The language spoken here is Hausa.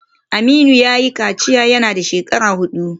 Aminu yayi kaciya yana dan shekara hudu